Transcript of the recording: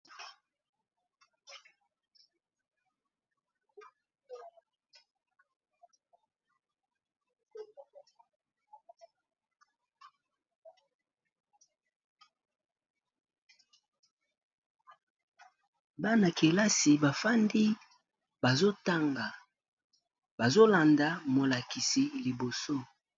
bana-kelasi bafandi bazotanga bazolanda molakisi liboso